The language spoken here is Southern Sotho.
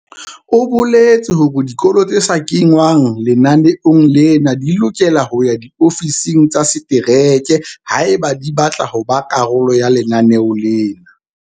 O boletse hore dikolo tse sa kengwang lenaneong lena di lokela ho ya diofising tsa setereke haeba di batla ho ba karolo ya lenaneo lena.